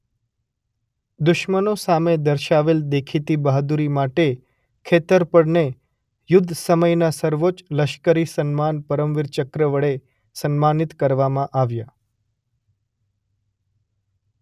દુશ્મનો સામે દર્શાવેલ દેખીતી બહાદુરી માટે ખેતરપળને યુદ્ધસમયના સર્વોચ્ચ લશ્કરી સન્માન પરમવીર ચક્ર વડે સન્માનિત કરવામાં આવ્યા.